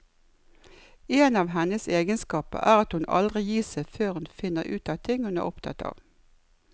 En av hennes egenskaper er at hun aldri gir seg før hun finner ut av ting hun er opptatt av.